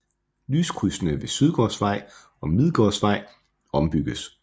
Lyskrydsene ved Sydgårdsvej og Midlergårdsvej ombygges